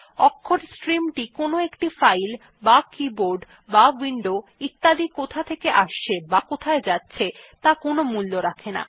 অক্ষরের স্ট্রিম টি কোনো একটি ফাইল বা কীবোর্ড বা উইন্ডো ইত্যাদি কোথা থেকে আসছে বা কোথায় যাচ্ছে ত়া কোনো মূল্য রাখে না